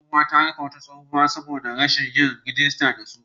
Kungiyar masu saida barkonon tsohuwa ta rufe wata mata shago saboda rashin yin rijista da su